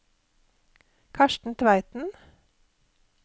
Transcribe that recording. Karsten Tveiten